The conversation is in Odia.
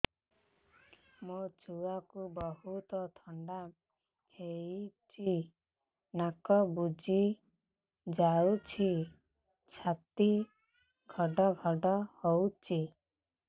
ମୋ ଛୁଆକୁ ବହୁତ ଥଣ୍ଡା ହେଇଚି ନାକ ବୁଜି ଯାଉଛି ଛାତି ଘଡ ଘଡ ହଉଚି